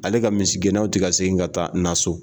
Ale ka misigɛnnaw tɛ ka segin ka taa na so